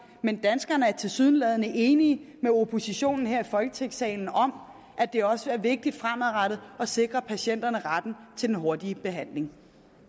men danskerne er tilsyneladende enige med oppositionen her i folketingssalen om at det også er vigtigt fremadrettet at sikre patienterne retten til den hurtige behandling